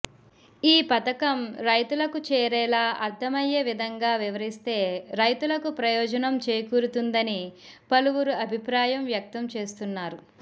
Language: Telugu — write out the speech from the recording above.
ఈ పథకం రైతులకు చేరేలా అర్థమయ్యే విధంగా వివరిస్తే రైతులకు ప్రయోజనం చేకూరుతుందని పలువురు అభిప్రాయం వ్యక్తం చేస్తున్నారు